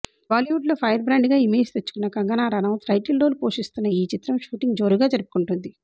బాలీవుడ్లో ఫైర్బ్రాండ్గా ఇమేజ్ తెచ్చుకున్న కంగనా రనౌత్ టైటిల్ రోల్ పోషిస్తోన్న ఈ చిత్రం షూటింగ్ జోరుగా జరుపుకుంటోంది